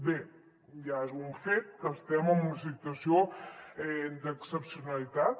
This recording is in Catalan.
bé ja és un fet que estem en una situació d’excepcionalitat